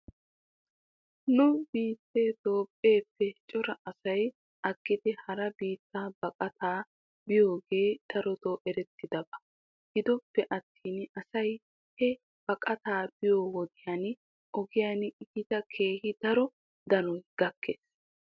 Nu biittee toophpheeppe cora asay aggidi hara biitta baqataa biyoogee daroto erettidaba . Gidoppe attin asay he baqataa biyoo wodiyan ogiyan eta keehi daro danoy gakkes.